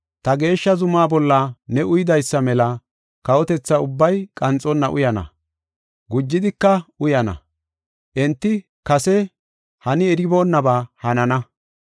Ta geeshsha zumaa bolla ne uyidaysa mela kawotetha ubbay qanxonna uyana; gujidika uyana; enti kase hani eronnabaa hanana.